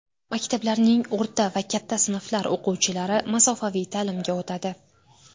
Maktablarning o‘rta va katta sinflar o‘quvchilari masofaviy ta’limga o‘tadi.